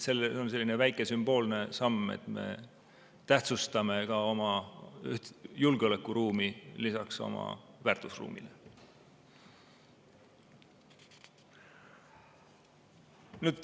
See on selline väike sümboolne samm, et me tähtsustame ka oma julgeolekuruumi lisaks oma väärtusruumile.